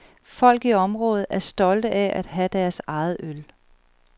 Folk i området er stolte af at have deres eget øl.